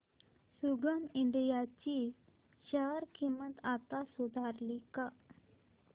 संगम India ची share किंमत आता सुधारली का